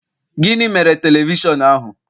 Gịnị mere telivishọn ahu?